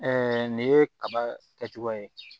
nin ye kaba kɛcogo ye